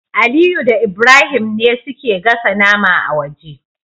Aliyu da Ibrahim ne suke gasa nama a waje